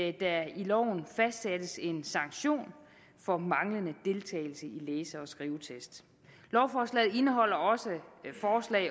at der i loven fastsættes en sanktion for manglende deltagelse i læse og skrivetest lovforslaget indeholder også af